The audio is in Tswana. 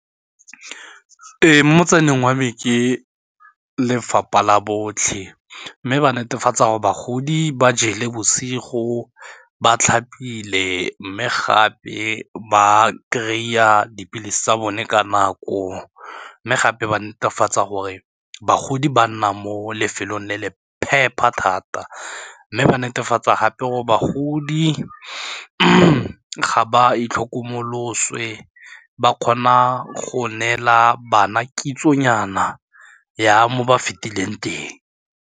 Mo tseleng wa me ke lefapha la botlhe mme ba netefatsa gore bagodi ba jele bosigo, ba tlhapile mme gape ba kry-a dipilisi tsa bone ka nako mme gape ba netefatsa gore bagodi ba nna mo lefelong le le phepa thata mme ba netefatsa gape gore bagodi ga ba itlhokomoloswe ba kgona go neela bana kitsonyana ya mo ba fetileng teng.